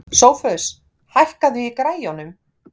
Sophus, hækkaðu í græjunum.